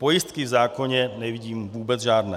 Pojistky v zákoně nevidím vůbec žádné.